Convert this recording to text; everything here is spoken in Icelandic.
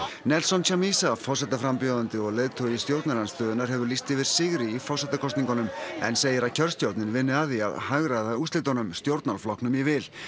forsetaframbjóðandi og leiðtogi stjórnarandstöðunnar hefur lýst yfir sigri í forsetakosningunum en segir að kjörstjórnin vinni að því að hagræða úrslitunum stjórnarflokknum í vil alþjóðlegir